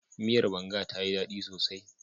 Miyar banga tayi ɗaɗi sosai.